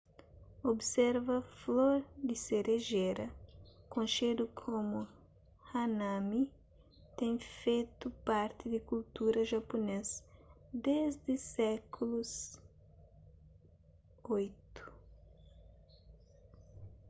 observa flor di serejera konxedu komu hanami ten fetu parti di kultura japunês desdi sékulu viii